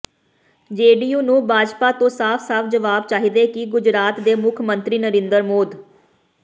JDU ਨੂੰ ਭਾਜਪਾ ਤੋਂ ਸਾਫ ਸਾਫ ਜਵਾਬ ਚਾਹੀਦੈ ਕਿ ਗੁਜਰਾਤ ਦੇ ਮੁੱਖ ਮੰਤਰੀ ਨਰਿੰਦਰ ਮੋਦ